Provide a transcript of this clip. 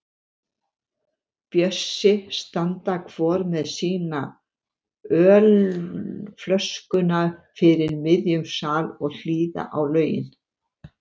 Bjössi standa hvor með sína ölflöskuna fyrir miðjum sal og hlýða á lögin.